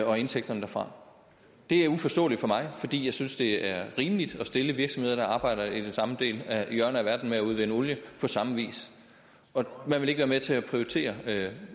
og indtægterne derfra det er uforståeligt for mig fordi jeg synes det er rimeligt at stille virksomheder der arbejder i det samme hjørne af verden med at udvinde olie på samme vis og man vil ikke være med til at prioritere